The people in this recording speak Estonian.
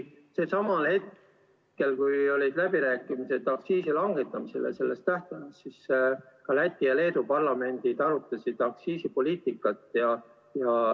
Samal ajal, kui olid läbirääkimised aktsiisi langetamise tähtaja üle, ka Läti ja Leedu parlamendid arutasid aktsiisipoliitikat.